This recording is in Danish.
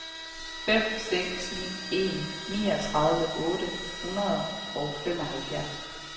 fem seks ni en niogtredive otte hundrede og femoghalvfjerds